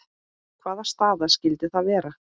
Hvaða staða skyldi það vera?